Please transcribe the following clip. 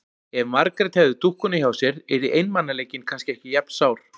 Ef Margrét hefði dúkkuna hjá sér yrði einmanaleikinn kannski ekki jafn sár.